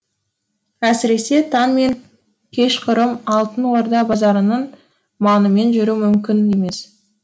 әсіресе таң мен кешқұрым алтын орда базарының маңымен жүру мүмкін емес